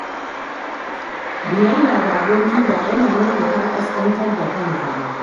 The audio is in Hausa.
Biyayya ga aboki ba yana nufin ka ƙasƙantar da kanka ba